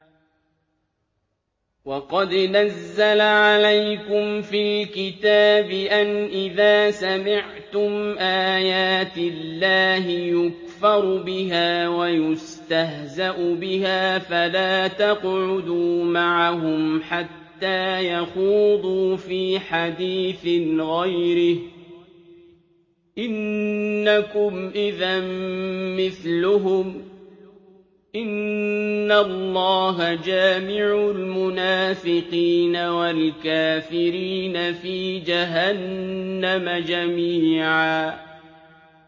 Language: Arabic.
وَقَدْ نَزَّلَ عَلَيْكُمْ فِي الْكِتَابِ أَنْ إِذَا سَمِعْتُمْ آيَاتِ اللَّهِ يُكْفَرُ بِهَا وَيُسْتَهْزَأُ بِهَا فَلَا تَقْعُدُوا مَعَهُمْ حَتَّىٰ يَخُوضُوا فِي حَدِيثٍ غَيْرِهِ ۚ إِنَّكُمْ إِذًا مِّثْلُهُمْ ۗ إِنَّ اللَّهَ جَامِعُ الْمُنَافِقِينَ وَالْكَافِرِينَ فِي جَهَنَّمَ جَمِيعًا